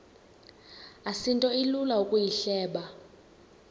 asinto ilula ukuyihleba